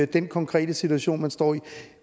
den konkrete situation man står i